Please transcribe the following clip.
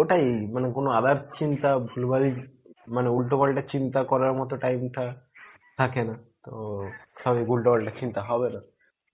ওটাই মানে কোনো other চিন্তা ভুলভাল মানে উল্টো পাল্টা চিন্তা করারমতো time টা থাকেনা তো খালি উল্টো পাল্টা চিন্তা হবেনা.